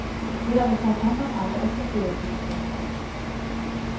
De er blitt tatt hånd om av det offentlige siden torsdag.